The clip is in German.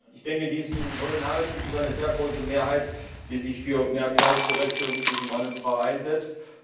Ich denke, in diesem hohen Haus gibt es eine sehr große Mehrheit, die sich für mehr Gleichberechtigung zwischen Mann und Frau einsetzt.